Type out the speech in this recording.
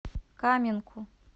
каменку